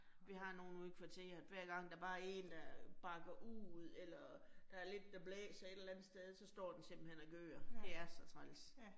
Vi har nogle ude i kvarteret, hver gang der bare 1, der bakker ud eller der lidt, der blæser et eller andet sted, så står den simpelthen og gør. Det er så træls.